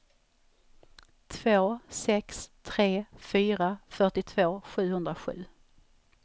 två sex tre fyra fyrtiotvå sjuhundrasju